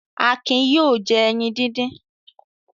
Akin yóò jẹ ẹyin dídín.